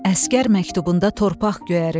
Əsgər məktubunda torpaq göyərir.